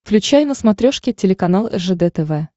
включай на смотрешке телеканал ржд тв